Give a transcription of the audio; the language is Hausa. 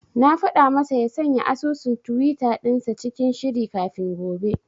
Na faɗa masa ya sanya asusun tiwita dinsa cikin shiri kafin gobe.